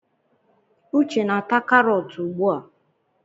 Uche na ata karọt ugbu a.